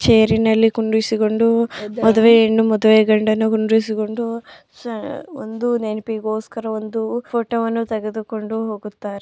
ಛೈರ್ನಲ್ಲಿ ಕೂಡಿರಿಸಿಕೊಂಡು ಮದುವೆ ಹೆಣ್ಣು ಮದುವೆ ಗಂಡನ್ನು ಕೂಡಿರಿಸಿಕೊಂಡು ಒಂದು ನೆನಪಿಗೋಸ್ಕರ ಒಂದು ಫೋಟೋವನ್ನು ತೆಗೆದುಕೊಂಡು ಹೋಗುತ್ತಾರೆ.